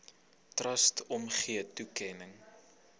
trust omgee toekenning